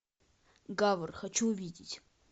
гавр хочу увидеть